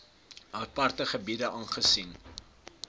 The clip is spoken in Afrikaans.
aparte gebiede aangesien